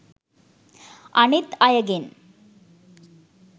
අනිත් අයගෙන්